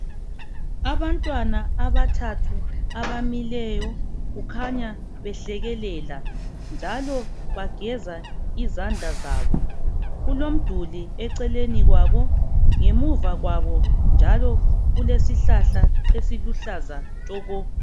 Abantwana abathathu abamileyo kukhanya behlekelela njalo bageza izandla zabo. Kulomduli eceleni kwabo. Ngemuva kwabo njalo kulesihlahla esiluhlaza tshoko.